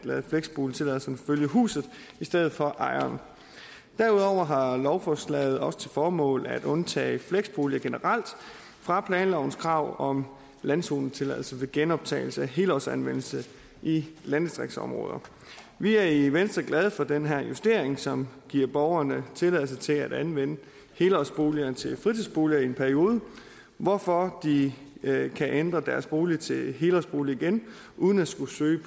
at lade fleksboligtilladelsen følge huset i stedet for ejeren derudover har lovforslaget også som formål at undtage fleksboliger generelt fra planlovens krav om landzonetilladelse ved genoptagelse af helårsanvendelse i landdistriktsområder vi er i venstre glade for den her justering som giver borgerne tilladelse til at anvende helårsboliger til fritidsbolig i en periode hvorfor de kan ændre deres bolig til helårsbolig igen uden at skulle søge